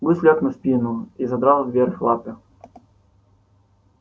гусь лёг на спину и задрал вверх лапы